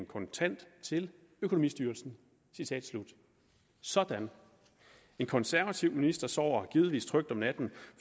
kontant til økonomistyrelsen sådan en konservativ minister sover givetvis trygt om natten